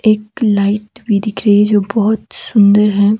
एक लाइट भी दिख रही जो बहोत सुंदर है।